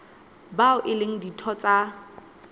bao e leng ditho tsa